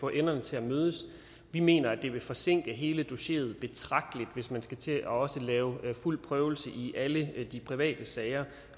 få enderne til at mødes vi mener at det vil forsinke hele det dossier betragteligt hvis man skal til også at lave fuld prøvelse i alle de private sager